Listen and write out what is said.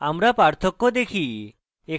আমরা পার্থক্য দেখি